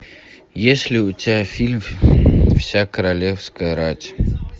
есть ли у тебя фильм вся королевская рать